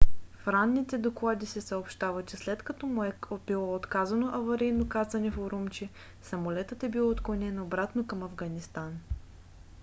в ранните доклади се съобщава че след като му е било отказано аварийно кацане в урумчи самолетът е бил отклонен обратно към афганистан